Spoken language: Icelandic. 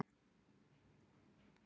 Ljótur, hækkaðu í græjunum.